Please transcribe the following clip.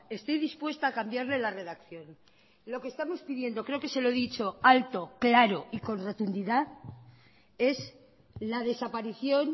estoy dispuesta a cambiarle la redacción lo que estamos pidiendo creo que se lo he dicho alto claro y con rotundidad es la desaparición